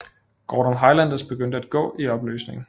Gordon Highlanders begyndt at gå i opløsning